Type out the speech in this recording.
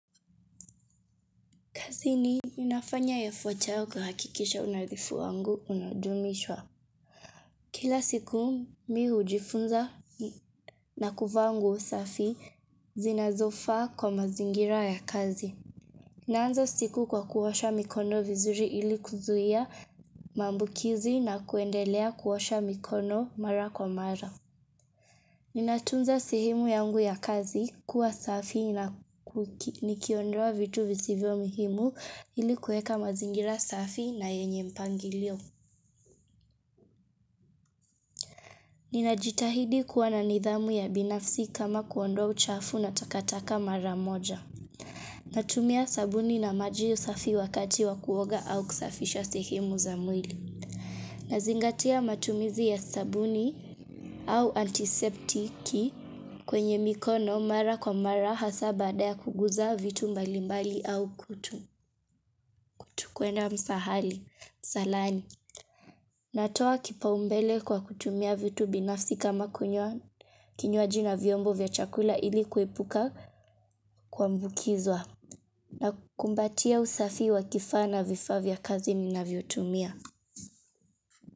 Zini, ninafanya ya fochao kuhakikisha unadhifu wangu unadumishwa. Kila siku, mimi hujifunza na kuvaa nguo safi zinazofaa kwa mazingira ya kazi. Naanza siku kwa kuosha mikono vizuri ili kuzuia maambukizi na kuendelea kuosha mikono mara kwa mara. Ninatunza sehemu yangu ya kazi kuwa safi na kuki nikiondoa vitu visivyo muhimu ili kuweka mazingira safi na yenye mpangilio. Ninajitahidi kuwa na nidhamu ya binafsi kama kuondoa uchafu na takataka mara moja. Natumia sabuni na maji safi wakati wa kuoga au kusafisha sehemu za mwili. Nazingatia matumizi ya sabuni au antiseptiki kwenye mikono mara kwa mara hasa baada ya kuguza vitu mbalimbali au kutu. Kuenda msaahali, msaalani. Natoa kipaumbele kwa kutumia vitu binafsi kama kunyoa kinywaji na vyombo vya chakula ili kuepuka kuambukizwa. Nakumbatia usafi wa kifaa na vifaa vya kazi ninavyotumia.